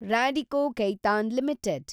Radico Khaitan limited